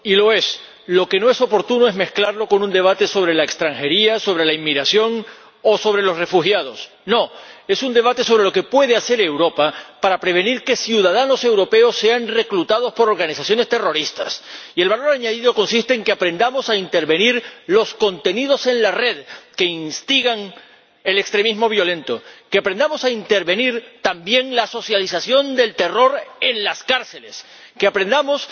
Señora Presidenta, señor Comisario, ha dicho usted que este es un debate oportuno, y lo es. Lo que no es oportuno es mezclarlo con un debate sobre la extranjería, sobre la inmigración o sobre los refugiados. No es un debate sobre lo que puede hacer Europa para prevenir que ciudadanos europeos sean reclutados por organizaciones terroristas. Y el valor añadido consiste en que aprendamos a intervenir los contenidos en la red que instigan al extremismo violento en que aprendamos a intervenir también la socialización del terror en las cárceles en que aprendamos